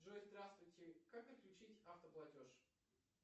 джой здравствуйте как отключить автоплатеж